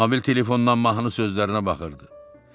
Mobil telefondan mahnı sözlərinə baxırdı.